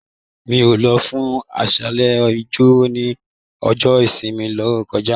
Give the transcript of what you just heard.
Mí o lọ fún aṣálẹ ijo ni ọjọ ìsinmi to kọjá.